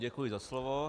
Děkuji za slovo.